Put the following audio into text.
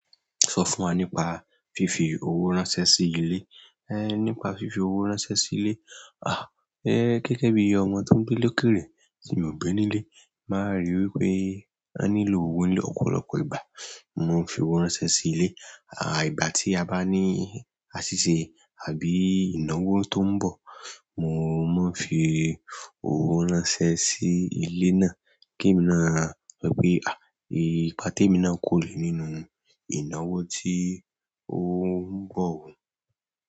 Sọ fún wa nípa fífi owó ránṣẹ́ sí ilé. Nípa fífi owó ránṣẹ́ sí ilé, gẹ́gẹ́ bíi ọmọ tó ń gbé lókèèrè tí mio gbé ní ilé, màá ríi wípé won nílò owó ní ọ̀pọ̀lọpọ̀ ìgbà. Mo ń fi owó ránṣẹ́ sí ilé, ìgbà tí a bá ní àṣìṣe àbí ìnáwó tó ń bọ̀, mo máa ń fi owó ránṣẹ́ sí ilé náà kí èmi má sọ̀ pé, ipa temi náà kò re nínú ìnáwó tí ó ń bọ̀ o.